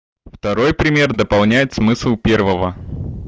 второй пример дополняет смысл первого